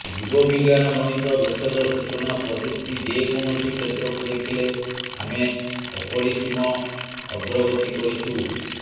ଜୀବବିଜ୍ଞାନ ଗଣିତ ଭେଷଜ ସୂଚନା ପ୍ରଯୁକ୍ତି ଯେ କୌଣସି କ୍ଷେତ୍ରକୁ ଦେଖିଲେ ଆମେ ଅପରିସୀମ ଅଗ୍ରଗତି କରିଛୁ